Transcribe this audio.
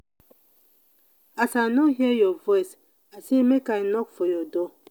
as i no hear your your voice i say make i knock for your door.